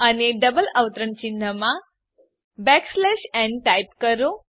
અને ડબલ અવતરણ ચિહ્નમાં ન ટાઈપ કરો